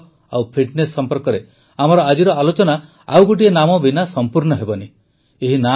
ଖେଳ ଓ ଫିଟନେସ ସମ୍ପର୍କରେ ଆମର ଆଜିର ଆଲୋଚନା ଆଉ ଗୋଟିଏ ନାମ ବିନା ସଂପୂର୍ଣ୍ଣ ହେବନାହିଁ